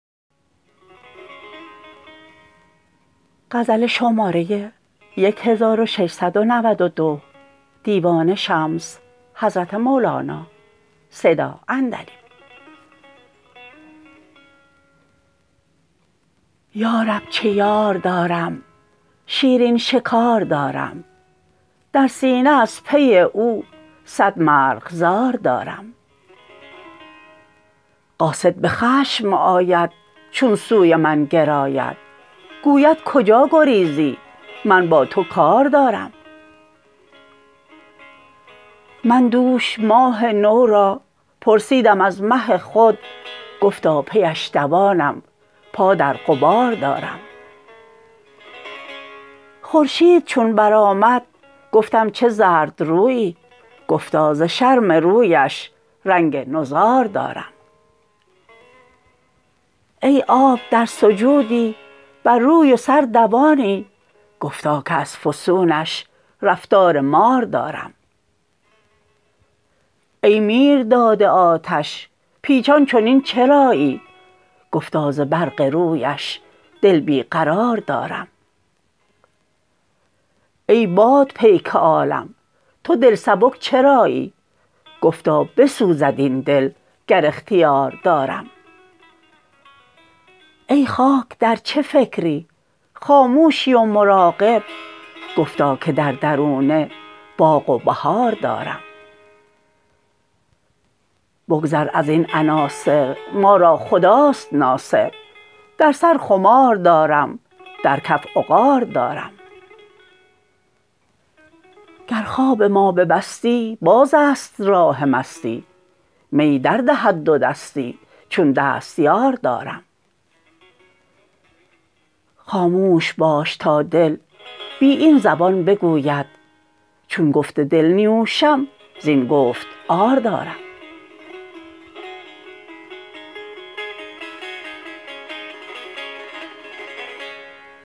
یا رب چه یار دارم شیرین شکار دارم در سینه از نی او صد مرغزار دارم قاصد به خشم آید چون سوی من گراید گوید کجا گریزی من با تو کار دارم من دوش ماه نو را پرسیدم از مه خود گفتا پی اش دوانم پا در غبار دارم خورشید چون برآمد گفتم چه زردرویی گفتا ز شرم رویش رنگ نضار دارم ای آب در سجودی بر روی و سر دوانی گفتا که از فسونش رفتار مار دارم ای میرداد آتش پیچان چنین چرایی گفتا ز برق رویش دل بی قرار دارم ای باد پیک عالم تو دل سبک چرایی گفتا بسوزد این دل گر اختیار دارم ای خاک در چه فکری خاموشی و مراقب گفتا که در درونه باغ و بهار دارم بگذر از این عناصر ما را خداست ناصر در سر خمار دارم در کف عقار دارم گر خواب ما ببستی بازست راه مستی می دردهد دودستی چون دستیار دارم خاموش باش تا دل بی این زبان بگوید چون گفت دل نیوشم زین گفت عار دارم